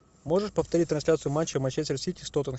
можешь повторить трансляцию матча манчестер сити с тоттенхэмом